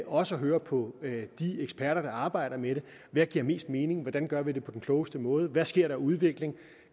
også at høre på de eksperter der arbejder med det hvad giver mest mening hvordan gør vi det på den klogeste måde hvad sker der af udvikling